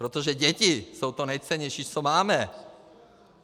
Protože děti jsou to nejcennější, co máme.